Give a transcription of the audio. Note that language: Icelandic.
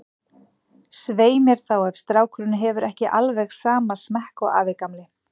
Svei mér þá, ef strákurinn hefur ekki alveg sama smekk og afi gamli.